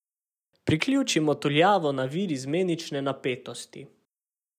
Priključimo tuljavo na vir izmenične napetosti.